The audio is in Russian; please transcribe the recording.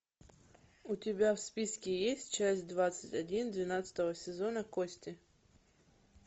у тебя в списке есть часть двадцать один двенадцатого сезона кости